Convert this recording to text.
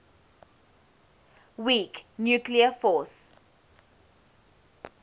weak nuclear force